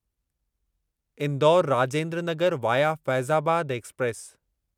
Indore Rajendra Nagar via Faizabad express